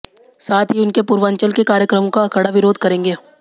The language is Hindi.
साथ ही उनके पूर्वांचल के कार्यक्रमों का कड़ा विरोध करेंगे